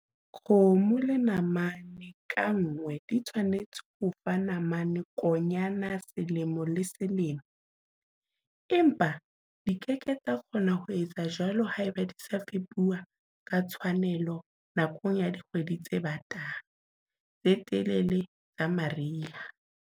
Kgomo le namane ka nngwe di tshwanetse ho o fa namane-konyana selemo le selemo, empa di ke ke tsa kgona ho etsa jwalo haeba di sa fepuwe ka tshwanelo nakong ya dikgwedi tse batang, tse telele tsa mariha.